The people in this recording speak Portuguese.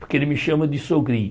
Porque ele me chama de sogrinho.